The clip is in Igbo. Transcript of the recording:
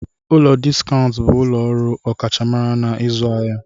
Ụlọ Diskaụnt bụ ụlọ ọrụ ọkachamara n'ịzụ ahịa.